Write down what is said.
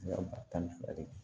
Yɔrɔ ba tan ni fila de